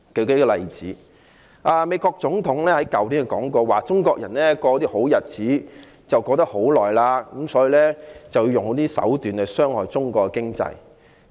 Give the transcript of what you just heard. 舉例而言，美國總統去年提到中國人過好日子過了很長時間，所以要用一些手段來傷害中國的經濟。